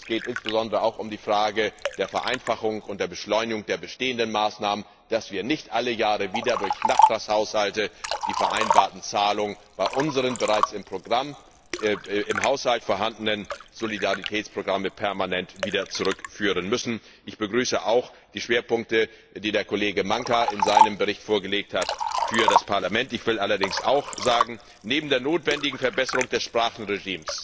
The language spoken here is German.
Es geht insbesondere auch um die Frage der Vereinfachung und der Beschleunigung der bestehenden Maßnahmen, so dass wir nicht alle Jahre wieder durch Nachtragshaushalte die vereinbarten Zahlungen bei unseren bereits im Haushalt vorhandenen Solidaritätsprogrammen permanent wieder zurückführen müssen. Ich begrüße auch die Schwerpunkte, die der Kollege Maňka in seinem Bericht für das Parlament vorgelegt hat. Neben der notwendigen Verbesserung der Sprachenregelung